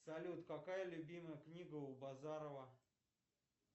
салют какая любимая книга у базарова